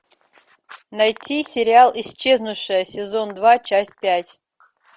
найти сериал исчезнувшая сезон два часть пять